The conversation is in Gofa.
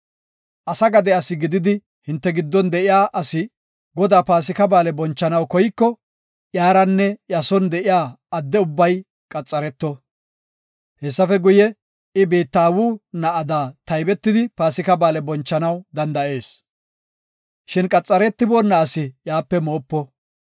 “Asa gade asi gididi hinte giddon de7iya asi Godaa Paasika Ba7aale bonchanaw koyko, iyaranne iya son de7iya adde ubbay qaxareto. Hessafe guye, I biitta aawu na7ada taybetidi Paasika Ba7aale bonchanaw danda7ees. Shin qaxaretiboona asi iyape moopo.